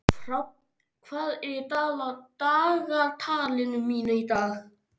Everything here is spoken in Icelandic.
Fránn, hvað er í dagatalinu mínu í dag?